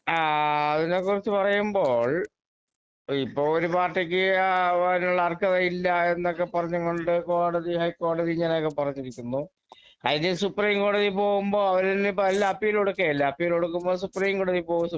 ആ അതിനെക്കുറിച്ച് പറയുമ്പോൾ ഇപ്പൊ ഒരു പാർട്ടിക്ക് അതിനുള്ള അർഹത ഇല്ലായെന്നൊക്കെ പറഞ്ഞുംകൊണ്ട് കോടതി ഹൈക്കോടതി ഇങ്ങനെയൊക്കെ പറഞ്ഞിരിക്കുന്നു അതിനി സുപ്രീം കോടതി പോകുമ്പോ അവരിനിപ്പോ എല്ലാം അപ്പീലുകൊടുക്കുകയല്ലേ അപ്പീലുകൊടുക്കുമ്പോൾ സുപ്രീം കോടതി പോകും